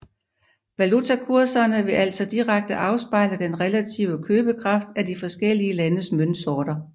Valutakurserne vil altså direkte afspejle den relative købekraft af de forskellige landes møntsorter